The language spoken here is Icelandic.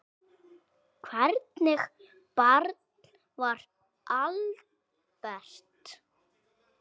Hvernig barn var Albert?